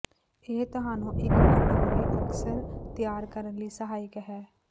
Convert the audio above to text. ਇਹ ਤੁਹਾਨੂੰ ਇੱਕ ਕਟੋਰੇ ਅਕਸਰ ਤਿਆਰ ਕਰਨ ਲਈ ਸਹਾਇਕ ਹੈ